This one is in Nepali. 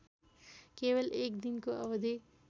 केवल एकदिनको अवधि